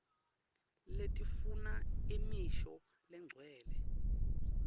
letifuna imisho legcwele